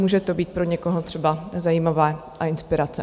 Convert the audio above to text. Může to být pro někoho třeba zajímavé a inspirace.